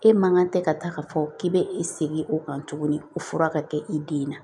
E man kan tɛ ka taa ka fɔ k'i bɛ i segin o kan tuguni o fura ka kɛ i den na